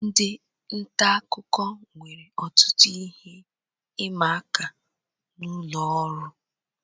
Ndị nta akụkọ nwere ọtụtụ ihe ịma aka n'ụlọ oru